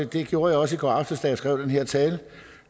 det gjorde jeg også i går aftes da jeg skrev den her tale